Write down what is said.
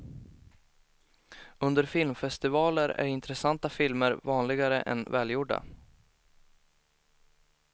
Under filmfestivaler är intressanta filmer vanligare än välgjorda.